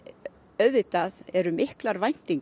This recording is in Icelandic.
auðvitað eru miklar væntingar